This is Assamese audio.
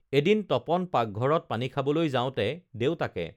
এদিন তপন পাগঘৰত পানী খাবলৈ যাওঁতে দেউতাকে